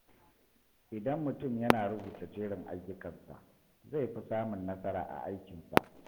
Idan mutum yana rubuta jerin ayyukansa, zai fi samun nasara a aikinsa.